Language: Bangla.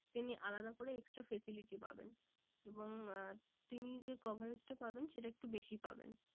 তিনি আলাদা করে extra facility পাবেন। এবং আহ তিনি যে coverage টা পাবেন সেটা একটু বেশি পাবেন।